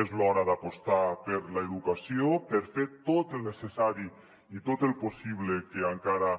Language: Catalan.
és l’hora d’apostar per l’educació per fer tot el necessari i tot el possible que encara